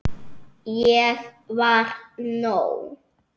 Ég var nóg.